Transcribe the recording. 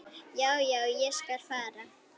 Já, já, ég skal fara.